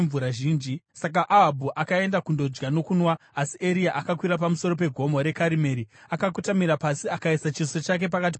Saka Ahabhu akaenda kundodya nokunwa, asi Eria akakwira pamusoro pegomo reKarimeri, akakotamira pasi akaisa chiso chake pakati pamabvi ake.